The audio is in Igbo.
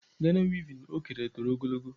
Gana wevin o kere toro ogologo.